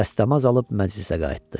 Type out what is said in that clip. Dəstəmaz alıb məclisə qayıtdı.